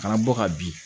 Kana bɔ ka bin